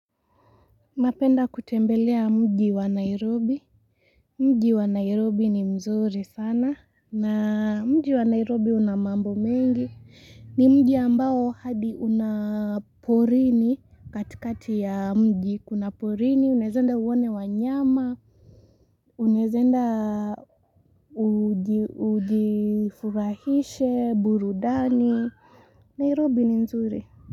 Napenda kutembelea mji wa nairobi mji wa nairobi ni mzuri sana na mji wa nairobi una mambo mengi ni mji ambao hadi una porini katikati ya mji kuna porini unaeza enda uone wanyama unaeza enda ujifurahishe burudani nairobi ni mzuri.